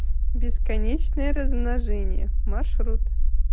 бесконечное размножение маршрут